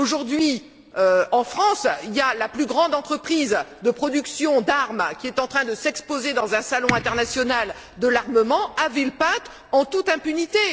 Aujourd'hui en France, la plus grande entreprise de production d'armes est en train de s'exposer dans un salon international de l'armement, à Villepinte, en toute impunité.